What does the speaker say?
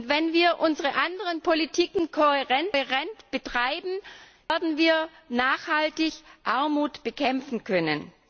Wenn wir unsere anderen Politiken kohärent betreiben, werden wir nachhaltig Armut bekämpfen können.